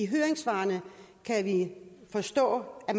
høringssvarene kan vi forstå at